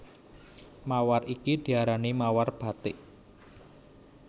Mawar iki diarani mawar bathik